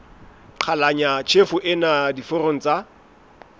qhalanya tjhefo ena diforong tsa